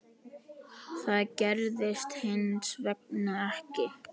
Það gerðist hins vegar ekki.